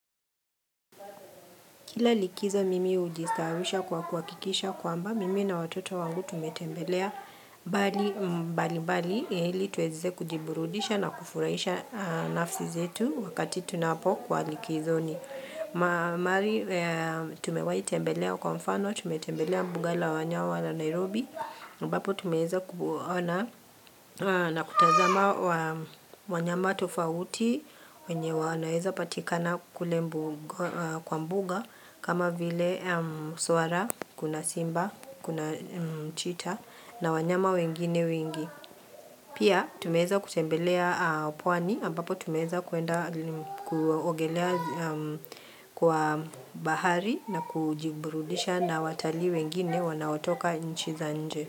Kila likizo mimi hujistaawisha kwa kuhakikisha kwamba mimi na watoto wangu tumetembelea bali mbali mbali ili tuweze kujiburudisha na kufurahisha nafsi zetu wakati tunapo kuwa likizoni. Mahali tumewai tembelea kwa mfano, tumetembelea mbuga la wanyawa la Nairobi ambapo tumeeza kuona na kutazama wanyama tofauti wenye wanaeza patikana kule kwa mbuga kama vile swara, kuna simba, kuna chita na wanyama wengine wengi Pia tumeeza kutembelea pwani ambapo tumeweza kuenda kuogelea kwa bahari na kujiburudisha na watalii wengine wanaotoka inchi za nje.